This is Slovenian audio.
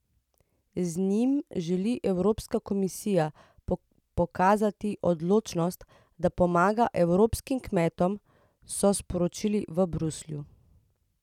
Z njim želi Evropska komisija pokazati odločenost, da pomaga evropskim kmetom, so sporočili v Bruslju.